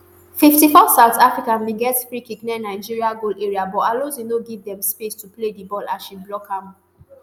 fifty-four south africa bin get freekick near nigeri goal area but alozie no give dem space to play di ball as she block am